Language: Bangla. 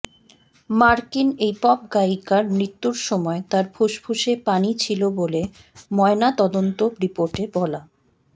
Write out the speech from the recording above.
মার্কিন এই পপগায়িকার মৃত্যুর সময় তার ফুসফুসে পানি ছিল বলে ময়নাতদন্ত রিপোর্টে বলা